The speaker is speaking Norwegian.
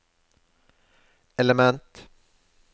element